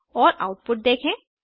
और आउटपुट देखें